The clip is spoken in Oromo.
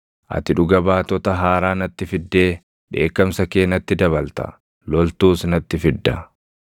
Ati dhuga baatota haaraa natti fiddee dheekkamsa kee natti dabalta; loltuus natti fidda.